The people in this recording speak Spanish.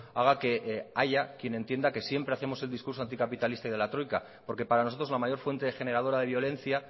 haga que haya quien entienda que siempre hacemos el discurso anticapitalista y de la troika porque para nosotros la mayor fuente generadora de violencia